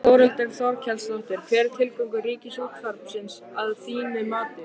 Þórhildur Þorkelsdóttir: Hver er tilgangur Ríkisútvarpsins að þínu mati?